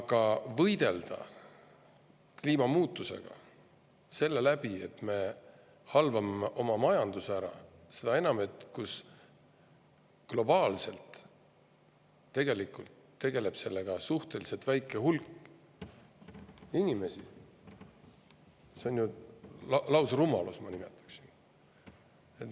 Aga kui võidelda kliimamuutustega nii, et me halvame oma majanduse ära, seda enam, et globaalselt tegeleb suhteliselt väike hulk inimesi, siis see on ju lausrumalus, ma nimetaksin seda nii.